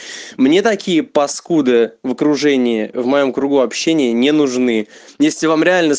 мне такие паскуды в окружении в моем кругу общения не нужны если вам реально